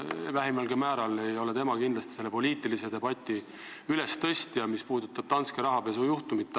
Vähimalgi määral ei ole tema kindlasti selle poliitilise debati ülestõstja, mis puudutab Danske rahapesujuhtumit.